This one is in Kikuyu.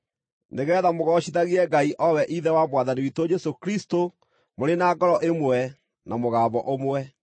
nĩgeetha mũgoocithagie Ngai o we Ithe wa Mwathani witũ Jesũ Kristũ mũrĩ na ngoro ĩmwe na mũgambo ũmwe.